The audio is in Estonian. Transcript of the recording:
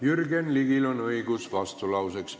Jürgen Ligil on õigus vastulauseks.